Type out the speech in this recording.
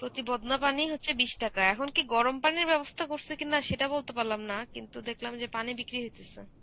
প্রতি বদনা পানি হচ্ছে বিশ টাকা. এখন কি গরম পানির ব্যবস্থা করসে কিনা সেটা বলতে পারলাম না. কিন্তু দেখলাম যে পানি বিক্রি হইতেসে.